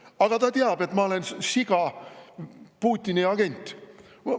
Aga ta teab, et ma olen siga, Putini agent.